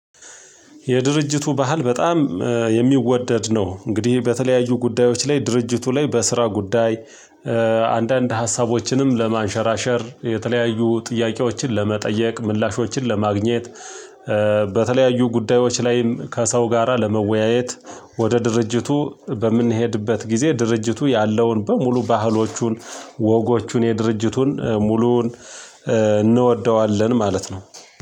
የድርጅቱ ባህል በጣም የሚወደድ ነው። እንግዲህ በተለያዩ ጉዳዮች ላይ ድርጅቱ ላይ በስራ ጉዳይ አንዳንድ ሀሳቦችንም ለማንሸራሸር፣ የተለያዩ ጥያቄዎችን ለመጠየቅ፥ ምላሾችን ለማግኘት፣ በተለያዩ ጉዳዮች ላይም ከሰው ጋራ ለመወያየት፣ ወደ ድርጅቱ በምንሄድበት ጊዜ ድርጅቱ ያለውን በሙሉ ባህሎቹን፣ ወጎቹን፣ የድርጅቱን ሙሉዉን እንወደዋለን ማለት ነው።